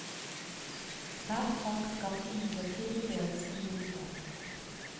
Hver sak skal imidlertid vurderes individuelt.